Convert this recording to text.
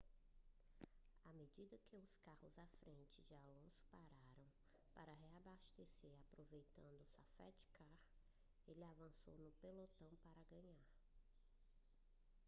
a medida que os carros à frente de alonso pararam para reabastecer aproveitando o safety car ele avançou no pelotão para ganhar